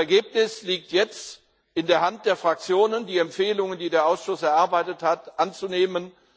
Das Ergebnis liegt jetzt vor, und es liegt in der Hand der Fraktionen, die Empfehlungen, die der Ausschuss erarbeitet hat, anzunehmen.